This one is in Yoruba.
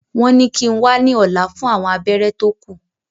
Wọ́n ní kíi n wá ní ọ̀la fún àwọn abẹ́rẹ́ tó kù